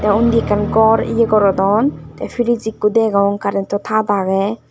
te undi ekkan gor ye gorodon te priz ekko degong karento tar agey.